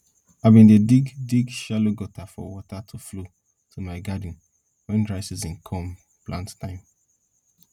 i bin dig dig shallow gutter for water to flow to my garden when dry season come plant time